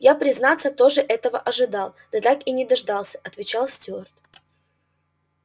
я признаться тоже этого ожидал да так и не дождался отвечал стюарт